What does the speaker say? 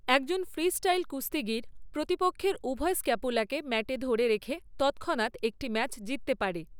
একজন ফ্রিস্টাইল কুস্তিগীর প্রতিপক্ষের উভয় স্ক্যাপুলাকে ম্যাটে ধরে রেখে তৎক্ষণাত একটি ম্যাচ জিততে পারে।